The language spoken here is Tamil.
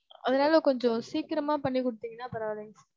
அதுனால கொஞ்சம் சீக்கிரமா பண்ணி குடுத்தீங்கனா பரவாலைங்க sir.